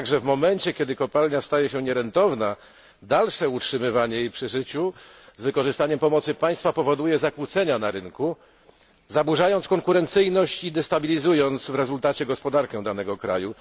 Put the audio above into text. Jednakże w momencie, kiedy kopalnia staje się nierentowna, dalsze jej utrzymywanie przy życiu z wykorzystaniem pomocy państwa powoduje zakłócenia na rynku, zaburzając konkurencyjność i destabilizując w rezultacie gospodarkę danego kraju.